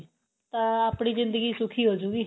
ਤਾਂ ਆਪਣੀ ਜਿੰਦਗੀ ਸੁਖੀ ਹੋਜੂਗੀ